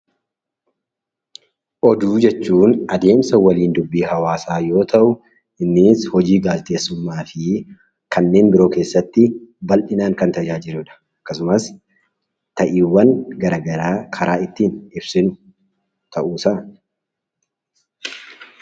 Oduu jechuun adeemsa waliin dubbii hawaasa yoo ta'u innis hojii gaazexeessummaa fi kanneen biroo keessatti bal'inaan kan tajaajiludha. Akkasumas ta'iiwwan garagaraa karaa ittiin ibsinudha.